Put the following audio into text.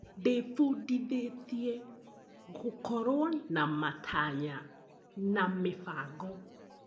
Ndĩbundithĩtie gũkorwo na matanya na mĩbango.